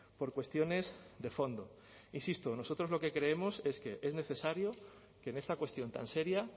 por cuestiones de fondo insisto nosotros lo que creemos es que es necesario que en esta cuestión tan seria